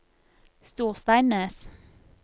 Storsteinnes